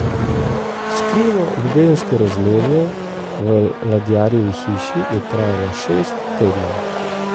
Skrivno ljubezensko razmerje v ladjarjevi hiši je trajalo šest tednov.